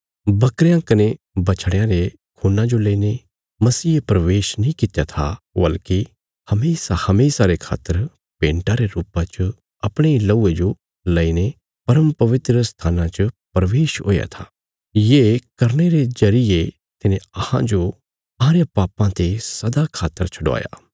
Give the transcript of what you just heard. बकरयां कने बछड़यां रे खून्ना जो लेईने मसीहे प्रवेश नीं कित्या था वल्कि हमेशाहमेशा रे खातर भेन्टा रे रुपा च अपणे इ लहूये जो लेईने परमपवित्र स्थाना च प्रवेश हुया था ये करने रे जरिये तिने अहांजो अहांरे पापां ते सदा खातर छडवाया